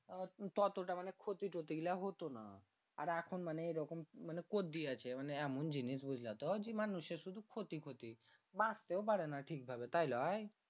তত টা মানে ক্ষতি টোটি গীলা হতো না আর এখুন মানে এরকম মানে করদিয়েছে এমন জিনিস বুঝলা তো জি মানুষের শুধু ক্ষতি ক্ষতি বাঁচতেও পারে না ঠিক ভাবে তাই লই